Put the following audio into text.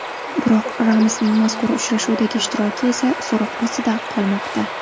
Biroq Ramosning mazkur uchrashuvdagi ishtiroki esa so‘roq ostida qolmoqda.